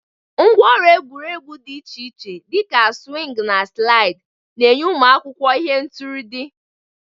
Ngwá ọrụ egwuregwu dị iche iche, dị ka swings na slide, na-enye ụmụ akwụkwọ ihe ntụrụndụ.